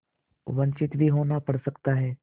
वंचित भी होना पड़ सकता है